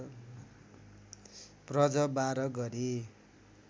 प्रज १२ गरी